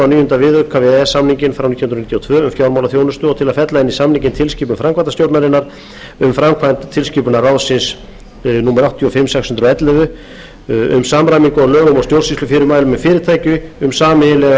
níunda viðauka við e e s samninginn frá nítján hundruð níutíu og tvö og til að fella inn í samninginn tilskipun framkvæmdastjórnarinnar um framkvæmd tilskipunar ráðsins áttatíu og fimm sex hundruð og ellefu e b e um samræmingu á lögum og stjórnsýslufyrirmælum um fyrirtæki um sameiginlega